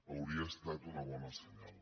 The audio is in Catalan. hauria estat un bon senyal